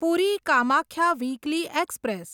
puri Kamakhya weekly express